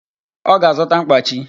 Ọ ga-azụta mkpachi